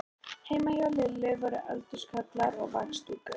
Heima hjá Lillu voru eldhúskollar og vaxdúkur.